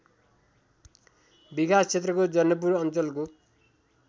विकासक्षेत्रको जनकपुर अञ्चलको